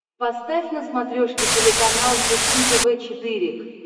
поставь на смотрешке телеканал фэшен тв четыре к